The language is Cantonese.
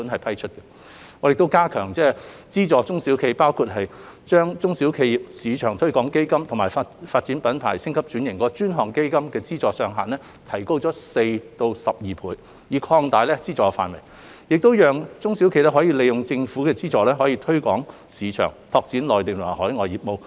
我們亦加強資助中小企業，包括將"中小企業市場推廣基金"及"發展品牌、升級轉型及拓展內銷市場的專項基金"的資助上限分別提高4倍及12倍，以及擴大資助範圍，讓中小企業可以利用政府資助進行市場推廣及拓展內地及海外業務。